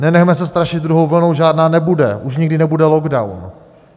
Nenechme se strašit druhou vlnou, žádná nebude, už nikdy nebude lockdown!